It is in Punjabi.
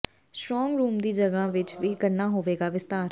ਸਟ੍ਰਾਂਗ ਰੂਮ ਦੀ ਜਗ੍ਹਾ ਵਿਚ ਵੀ ਕਰਨਾ ਹੋਵੇਗਾ ਵਿਸਤਾਰ